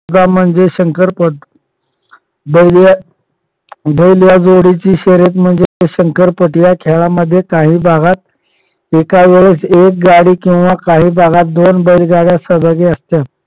स्पर्धा म्हणजे शंकर पट बैल या बैल या जोडीची शर्यत म्हणजे शंकर पट या खेळामध्ये काही भागात एका वेळेस एक गाडी किंवा काही भागात दोन बैलगाड्या सहभागी असतात.